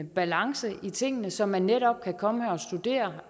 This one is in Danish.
balance i tingene så man netop kan komme og studere